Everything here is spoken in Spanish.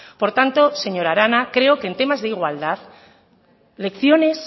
por tanto señora arana creo que en temas de igualdad lecciones